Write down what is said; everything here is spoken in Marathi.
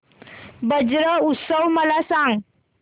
ब्रज उत्सव मला सांग